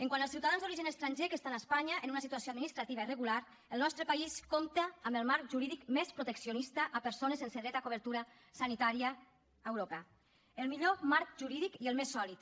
quant als ciutadans d’origen estranger que estan a espanya en una situació administrativa irregular el nostre país compta amb el marc jurídic més proteccionista a persones sense dret a cobertura sanitària a europa el millor marc jurídic i el més sòlid